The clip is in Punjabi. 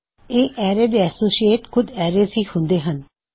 ਇਸ ਐਰੇ ਦੇ ਐਸੋਸਿਏਸ਼ਟਸ ਖੁਦ ਐਰੇਜ਼ ਹੀ ਹੁੰਦੇ ਹੱਨ